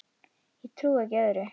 Ég trúi ekki öðru.